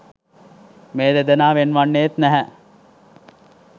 මේ දෙදෙනා වෙන් වන්නේත් නැහැ.